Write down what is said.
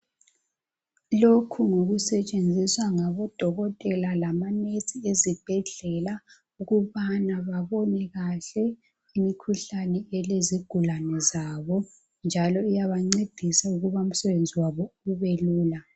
lokhu ngokusetshenziswa ngabo dokotela labo nurse ezibhedlela ukubana babone kahle imikhuhlane elezigulane zabo njalo iyabancedisa ukubana umsebenzi wabo ubelula